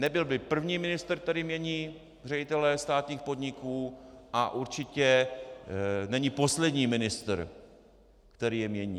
Nebyl by první ministr, který mění ředitele státních podniků, a určitě není poslední ministr, který je mění.